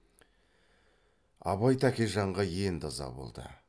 абай тәкежанға енді ыза болды